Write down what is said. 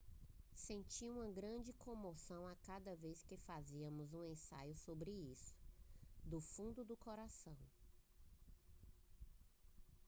sentia uma grande comoção a cada vez que fazíamos um ensaio sobre isso do fundo do coração